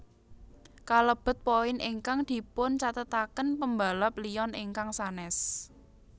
Kalebet poin ingkang dipuncathetaken pembalap Lyon ingkang sanès